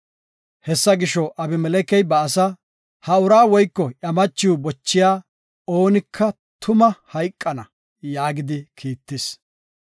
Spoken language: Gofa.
Hessa gisho, Abimelekey ba asa, “Ha ura woyko iya machiw bochiya oonika tuma hayqana” yaagidi kiittis.